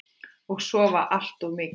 Og sofa allt of mikið.